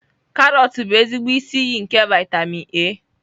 Karọt bụ ezigbo isi iyi nke vitamin A.